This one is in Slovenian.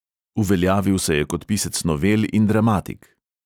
Uveljavil se je kot pisec novel in dramatik.